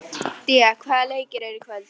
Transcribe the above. Día, hvaða leikir eru í kvöld?